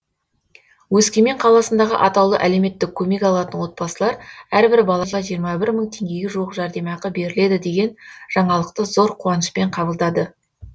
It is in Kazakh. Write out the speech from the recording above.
өскемен қаласындағы атаулы әлеуметтік көмек алатын отбасылар әрбір балаға жиырма бір мың теңгеге жуық жәрдемақы беріледі деген жаңалықты зор қуанышпен қабылдады